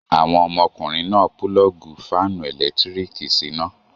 Àwọn ọmọkùnrin náà pulọ́ọ́gì fáánù ẹ̀lẹ́tíríkì síná.